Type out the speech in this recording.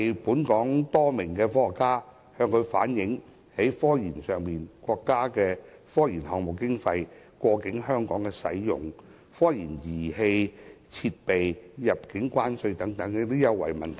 本港多名科學家曾向習近平主席反映，有關國家的科研項目經費過境在香港使用，以及科研儀器設備入境關稅優惠等問題。